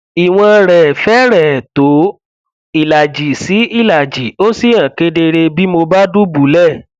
ìwọn rẹ fẹrẹẹ tó ìlàjì sí ìlàjì ó sì hàn kedere bí mo bá dùbúlẹ